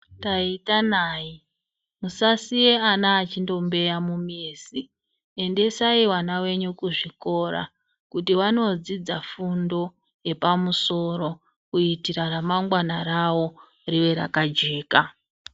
Taita nai musasiye ana achindombeya mumizi endesai vana venyu kuzvikora kuti vandoodzidza fundo yeoamusoro kuitira remangwana rawo riwe rakajeka.